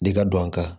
De ka don a kan